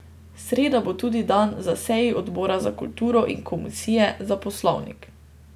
Sreda bo tudi dan za seji odbora za kulturo in komisije za poslovnik.